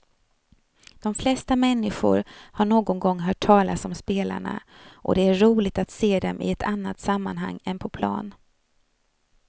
De flesta människor har någon gång hört talas om spelarna och det är roligt att se dem i ett annat sammanhang än på plan.